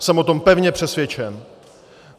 Jsem o tom pevně přesvědčen.